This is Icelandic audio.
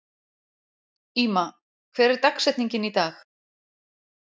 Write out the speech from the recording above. Íma, hver er dagsetningin í dag?